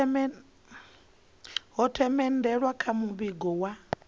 ho themendelwa kha muvhigo wa